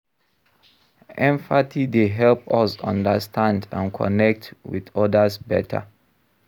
Empathy dey help us understand and connect with odas better.